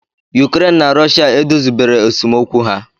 Ukraine na Russia edozibero esemokwu ha